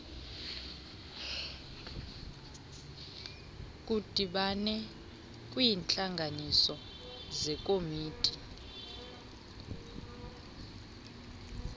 ludibane kwiintlanganiso zekomiti